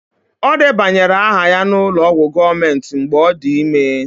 Ọ debanyere aha ya n'ụlọ ọgwụ gọọmentị mgbe ọ dị ime